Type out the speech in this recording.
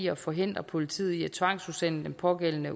at forhindre politiet i at tvangsudsende den pågældende